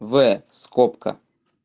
в скобка